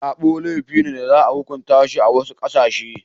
Sabo laifi ne da za a hukunta shi a wasu ƙasashe.